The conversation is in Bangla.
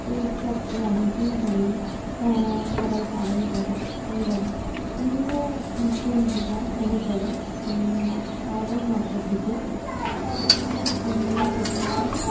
এই উৎসবটি অনেকদিন ধরেই হম সবাই পালন করে এবং হিন্দু পঞ্জিকা অনুসারে উম শ্রাবণ মাসের দিকে শ্রাবণ মাসের একটা পূর্ণিমা তিথি হয়